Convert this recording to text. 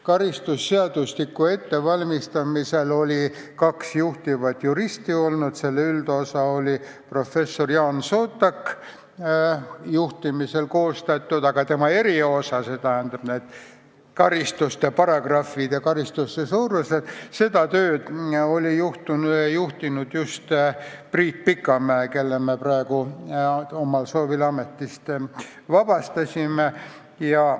Karistusseadustiku ettevalmistamisel oli kaks juhtivat juristi: üldosa, mis koostati professor Jaan Sootaki juhtimisel, aga eriosa, st süütegude paragrahvid ja karistuste suurused, seda tööd juhtis just Priit Pikamäe, kelle me praegu omal soovil ametist vabastasime.